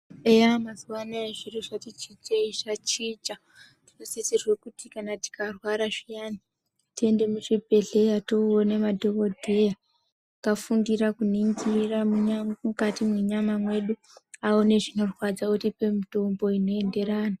Eya mazuva anaya zviro zvati chinjei, zvachinja tinosisirwe kuti tikarwara zviyani tiende muchibhedhleya toone madhokodheya akafundira kuningira mukati mwenyama mwedu, aone zvinorwadza atipe mitombo inoenderana.